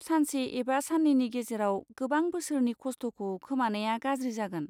सानसे एबा साननैनि गेजेराव गोबां बोसोरनि खस्थ'खौ खोमानाया गाज्रि जागोन।